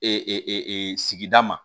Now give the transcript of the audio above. Ee sigida ma